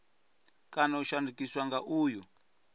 kana u shandukiswa nga uyu